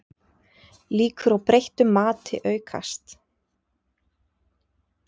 Líkur á breyttu mati aukast